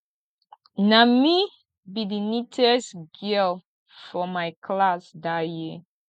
na me be the neatest girl for my class dat year